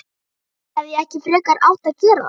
Hefði ég ekki frekar átt að gera það?